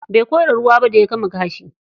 Bai kora ruwa ba da ya gama kashi.